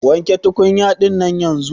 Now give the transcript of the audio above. Wanke tukunya dinnan yanzun.